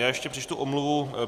Já ještě přečtu omluvu.